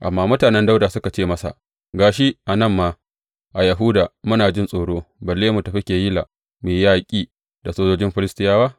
Amma mutanen Dawuda suka ce masa, Ga shi, a nan ma a Yahuda muna jin tsoro, balle mu tafi Keyila mu yi yaƙi da sojojin Filistiyawa!